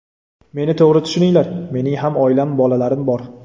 Meni to‘g‘ri tushuninglar, mening ham oilam, bolalarim bor.